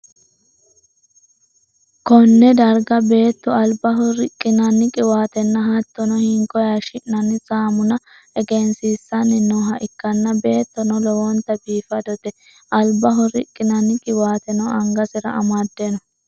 konne darga beetto albaho riqqinanni qiwaatenna hattono, hinko hashshi'nanni saamuna egensiissanni nooha ikkanna, beettono lowontanni biifadote, albaho riqqinanni qiwaateno angasera amadde no.